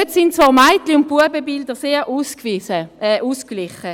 Dort sind zwei Mädchen- und Knabenbilder sehr ausgeglichen.